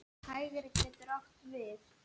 Hægri getur átt við